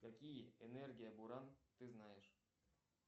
какие энергия буран ты знаешь